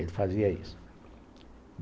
Ele fazia isso.